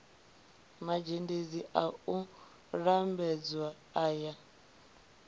mazhendedzi a u lambedza aya